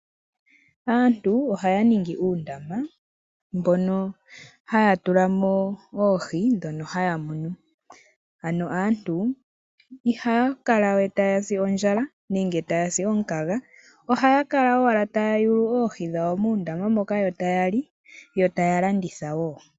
Aantu ohaya ningi uundama mbono haya tulamo oohi ndhono haya munu. Aantu ihaya kala we ta yasi ondjala nenge ta yasi omukaga, ohaya kala owala taya yugu oohi dhawo muundama moka yo tayali yo taya landitha wo.